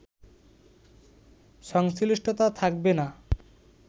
সংশ্লিষ্টতা থাকবে না